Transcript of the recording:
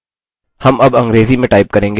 हम अब अंग्रेजी में type करेंगे